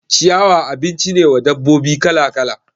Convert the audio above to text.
Ciyawa abinci ne wa dabbobi kala kala